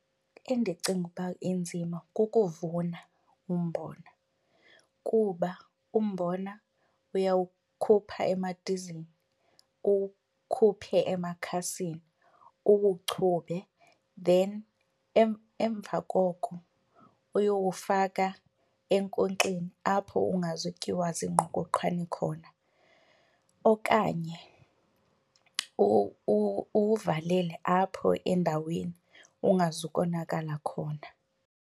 Endicinga ukuba inzima kukuvuna umbona kuba umbona uyawukhupha emadizini, uwukhuphe emakhasini uwuchube. Then emva koko uyowufaka enkonkxeni apho ungazutyiwa ziingqokoqhwane khona okanye uwuvalele apho endaweni ungazukonakala khona.